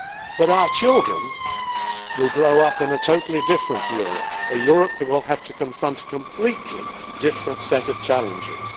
But our children will grow up in a totally different Europe, a Europe that will have to confront a completely different set of challenges.